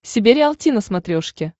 себе риалти на смотрешке